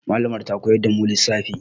Mallamar mu ta koyar da mu lissafi.